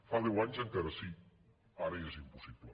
fa deu anys encara sí ara ja és im·possible